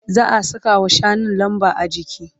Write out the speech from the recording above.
Za'a sakawa shanun lamba. ajiki